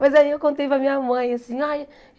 Mas aí eu contei para a minha mãe. Eu disse